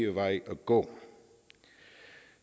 vej at gå